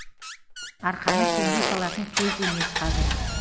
арқаны кеңге салатын кез емес қазір